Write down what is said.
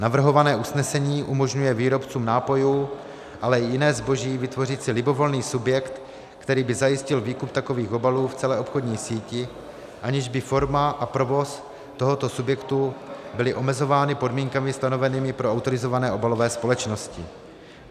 Navrhované usnesení umožňuje výrobcům nápojů, ale i jiného zboží vytvořit si libovolný subjekt, který by zajistil výkup takových obalů v celé obchodní síti, aniž by forma a provoz tohoto subjektu byly omezovány podmínkami stanovenými pro autorizované obalové společnosti.